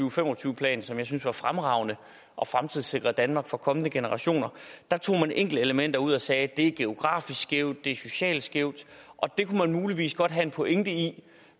og fem og tyve plan som jeg synes var fremragende og fremtidssikrede danmark for kommende generationer tog man enkeltelementer ud og sagde det er geografisk skævt det er socialt skævt og det kunne man muligvis godt have en pointe i